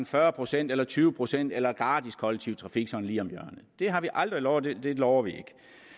fyrre procent eller tyve procent eller gratis kollektiv trafik sådan lige om hjørnet det har vi aldrig lovet og det lover vi